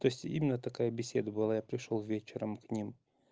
то есть именно такая беседа была я пришёл вечером к ним